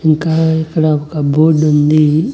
ఇంకా ఇక్కడ ఒక బోర్డుంది .